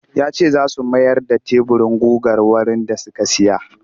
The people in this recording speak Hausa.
Ya ce za su mayar da teburin gugar wurin da suka saya